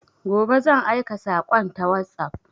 Gobe zan aika sakon ta WhatsApp